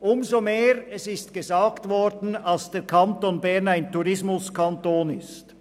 Dies umso mehr, als der Kanton Bern, wie erwähnt worden ist, ein Tourismuskanton ist.